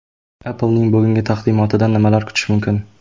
Apple’ning bugungi taqdimotidan nimalar kutish mumkin?.